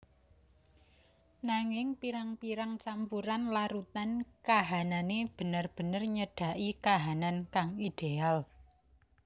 Nanging pirang pirang campuran larutan kahanane bener bener nyedaki kahanan kang ideal